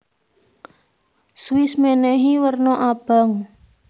Swiss menehi werna abang